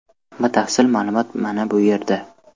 Batafsil ma’lumot mana bu yerda .